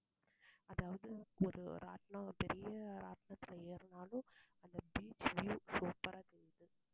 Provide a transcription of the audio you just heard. அதாவது ஒரு ராட்டினம் பெரிய ராட்டினத்துல ஏறுனாலும் அந்த beach view super ஆ